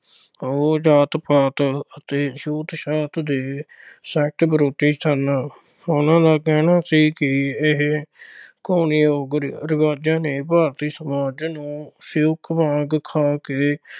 ਉਹ ਜਾਤ-ਪਾਤ ਅਤੇ ਛੂਤ-ਛਾਤ ਦੇ ਸਖਤ ਵਿਰੋਧੀ ਸਨ। ਉਨ੍ਹਾਂ ਦਾ ਕਹਿਣਾ ਸੀ ਕੀ ਇਹਨਾਂ ਘੁਣ ਯੋਗ ਰਿਵਾਜ਼ਾਂ ਨੇ ਭਾਰਤ ਸਮਾਜ ਨੂੰ ਸਿਉਂਕ ਵਾਂਗ ਖਾ ਕੇ